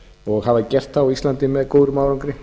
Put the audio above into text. og hafa gert það á með góðum árangri